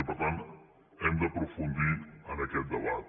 i per tant hem d’aprofundir en aquest debat